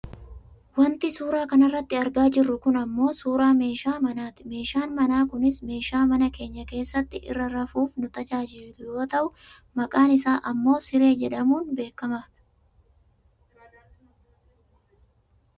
Wanti suuraa kanarratti argaa jirru kun ammoo suuraa meeshaa manaati. Meeshaan manaa kunis meeshaa mana keenya keessatti irra rafuuf nu tajaajilu yoo ta'u maqaan isaa ammoo Siree jedhamuun beekkama dha.